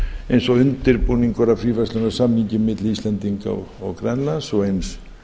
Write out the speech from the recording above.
eins og undirbúningur að fríverslunarsamningi milli íslands og grænlands og eins